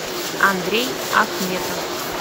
андрей ахметов